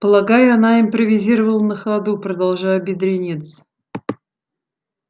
полагаю она импровизировала на ходу продолжая бедренец